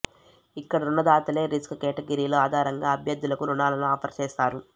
ఇక్కడ రుణదాతలే రిస్క్ కేటగిరీల ఆధారంగా అభ్యర్థులకు రుణాలను ఆఫర్ చేస్తారు